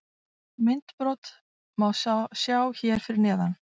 Myndbrot má sjá hér fyrir neðan: